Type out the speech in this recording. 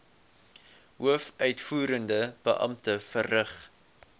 hoofuitvoerende beampte verrig